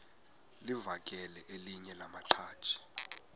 livakele elinye lamaqhaji